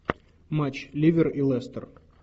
матч ливер и лестер